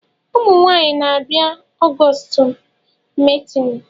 Ụmụ nwaanyị na-abia ọgọstụ meetini